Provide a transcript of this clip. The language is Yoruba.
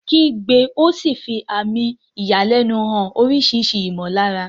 Kígbe ó sì ń fi àmì ìyàlẹ́nu hàn oríṣiríṣi ìmọ̀lára.